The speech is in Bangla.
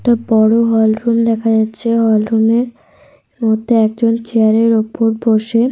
লোকটা লিখছে দেখা যাচ্ছে। একটা বড়ো টেবি ল রয়েছে দেখা যাহ --